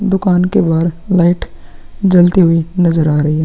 दुकान के बाहर लाइट जलती हुई नजर आ रही है ।